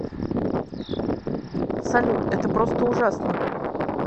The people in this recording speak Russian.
салют это просто ужасно